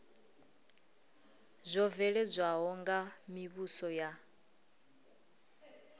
zwo bveledzwaho nga mivhuso ya